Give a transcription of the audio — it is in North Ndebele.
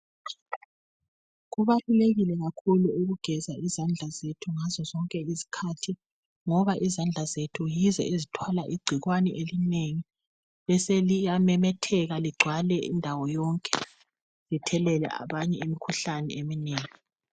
Kubalulekile kakhulu ukugeza izandla zethu ngazozonke izikhathi ngoba izandla zethu yizo ezithwala igcikwane elinengi beseliyamemetheka ligcwale indawo yonke lithelele abanye imikhuhlane eminengi.